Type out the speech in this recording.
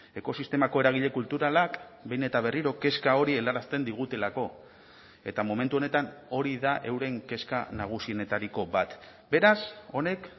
ekosistemako eragile kulturalak behin eta berriro kezka hori helarazten digutelako eta momentu honetan hori da euren kezka nagusienetariko bat beraz honek